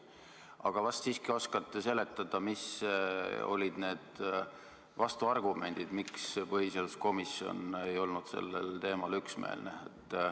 Aga vast siiski oskate seletada, mis olid need vastuargumendid, miks põhiseaduskomisjon ei olnud sellel teemal üksmeelne.